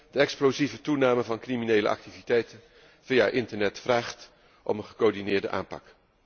De explosieve toename van criminele activiteiten via internet vraagt om een gecoördineerde aanpak.